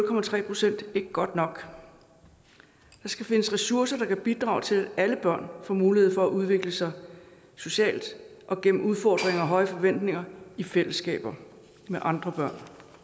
procent ikke godt nok der skal findes ressourcer der kan bidrage til at alle børn får mulighed for at udvikle sig socialt og gennem udfordringer og høje forventninger i fællesskaber med andre børn